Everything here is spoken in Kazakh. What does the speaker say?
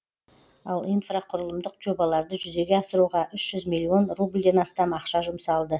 ал инфрақұрылымдық жобаларды жүзеге асыруға үш жүз миллион рубльден астам ақша жұмсалды